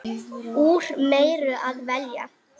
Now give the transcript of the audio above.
Úr meiru að velja!